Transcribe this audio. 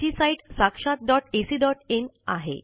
याची साईट sakshatacइन